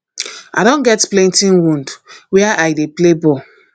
i don get plenty wound where i dey play ball